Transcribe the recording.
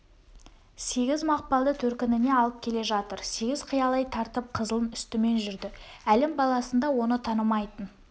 сегіз мақпалды төркініне алып келе жатыр сегіз қиялай тартып қызылдың үстімен жүрді әлім баласында оны танымайтын